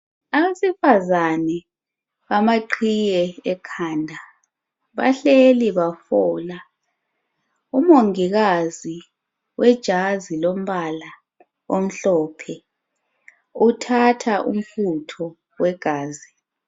abesifazana amaqhiye ekhanda bahleli bafola umongikazi owejazi lombala omhlophe uthatha umfutho wegazi.